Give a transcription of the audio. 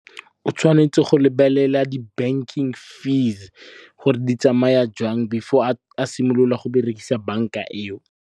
O tshwanetse go lebelela di banking fees gore di tsamaya jang before a simolola go berekisa banka eo.